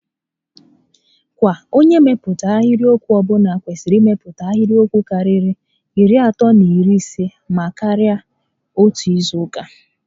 Kwa onyé mmepụta ahịrịokwu ọbụla kwesịrị imepụta ahịrịokwu karịrị iri atọ na iri isé maa karịa n'otu izu uka